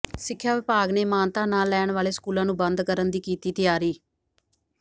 ਸਿੱਖਿਆ ਵਿਭਾਗ ਨੇ ਮਾਨਤਾ ਨਾ ਲੈਣ ਵਾਲੇ ਸਕੂਲਾਂ ਨੂੰ ਬੰਦ ਕਰਨ ਦੀ ਕੀਤੀ ਤਿਆਰੀ